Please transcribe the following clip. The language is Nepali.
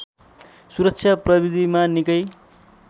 सुरक्षा प्रविधिमा निकै